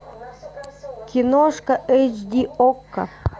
киношка эйч ди окко